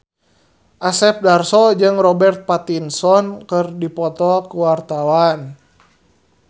Asep Darso jeung Robert Pattinson keur dipoto ku wartawan